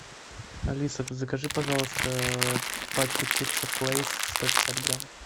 алиса закажи пожалуйста пачку чипсов лейс сто пятьдесят грамм